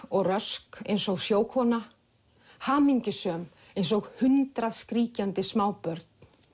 og rösk eins og sjókona hamingjusöm eins og hundrað skríkjandi smábörn